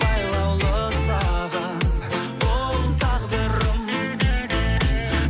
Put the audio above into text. байлаулы саған бұл тағдырым